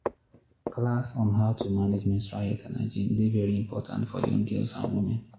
class on how to manage menstual health and hygiene dey very important for young girls and women.